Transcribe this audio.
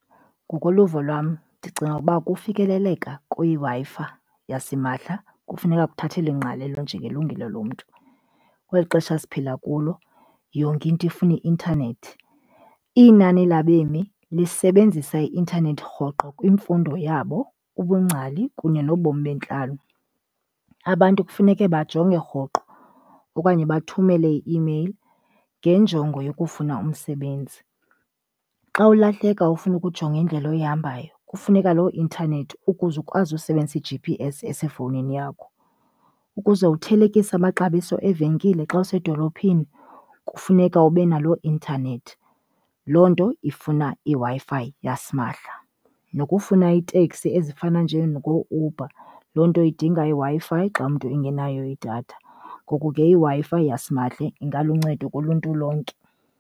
Ngokoluvo lwam ndicinga ukuba ukufikeleleka kwiWi-Fi yasimahla kufuneka kukhathelelwe ingqalelo njengelungelo lomntu. Kweli xesha siphila kulo yonke into ifuna i-intanethi. Inani labemi lusebenzisa i-intanethi rhoqo kwimfundo yabo, ubungcali kunye nobomi bentlalo. Abantu kufuneke bajonge rhoqo okanye bathumele i-email ngenjongo yokufuna umsebenzi. Xa ulahleka ufuna ukujonga indlela oyihambayo kufuneka loo internet ukuze ukwazi usebenzise i-G_P_S esefowunini yakho. Ukuze uthelekise amaxabiso evenkileni xa usedolophini kufuneka ube naloo internet, loo nto ifuna iWi-Fi yasimahla. Nokufuna iteksi ezifana njengooUber, loo nto idinga iWi-Fi xa umntu engenayo idatha. Ngoku ke iWi-Fi yasimahla ingaluncedo kuluntu lonke.